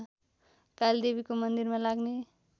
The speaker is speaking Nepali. कालीदेवीको मन्दिरमा लाग्ने